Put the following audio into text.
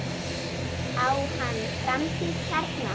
Á hann framtíð hérna?